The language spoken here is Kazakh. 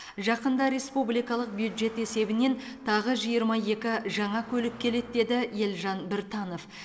жақында республикалық бюджет есебінен тағы жиырма екі жаңа көлік келеді деді елжан біртанов